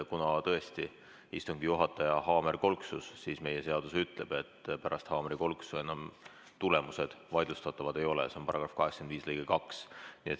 Kuna tõesti istungi juhataja haamer kolksus, siis meie seadus ütleb, et pärast haamrikolksu tulemused enam vaidlustatavad ei ole .